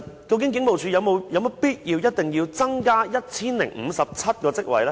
究竟警務處是否有必要增加 1,057 個職位呢？